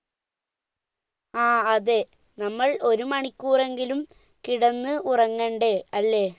ആ അതെ നമ്മൾ ഒരുമണിക്കൂറെങ്കിലും കിടന്നു ഉറങ്ങേണ്ടേ